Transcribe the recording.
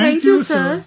Thank you Sir